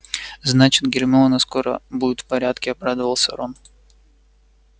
значит гермиона скоро будет в порядке обрадовался рон